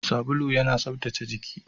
Sabulu yana tsaftace jiki.